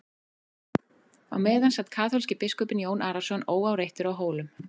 Á meðan sat kaþólski biskupinn Jón Arason óáreittur á Hólum.